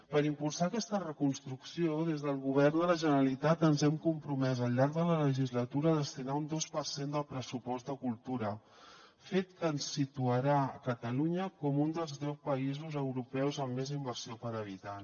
per impulsar aquesta reconstrucció des del govern de la generalitat ens hem compromès al llarg de la legislatura a destinar hi un dos per cent del pressupost de cultura fet que ens situarà a catalunya com un dels deu països europeus amb més inversió per habitant